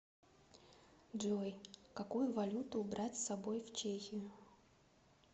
джой какую валюту брать с собой в чехию